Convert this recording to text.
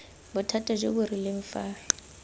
bothata jo bo rileng fa